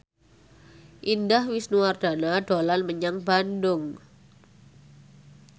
Indah Wisnuwardana dolan menyang Bandung